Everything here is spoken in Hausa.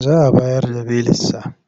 Za a bayar da belinsa.